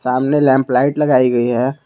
सामने lamp light लगाई गई है।